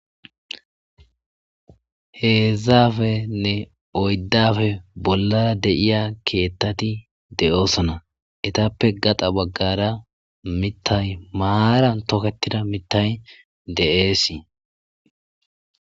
Heezaapenne oyddafe bollara deiya keettati de7oosona etappe gaxa baggara mittay maaran toketida mittay de'eesii.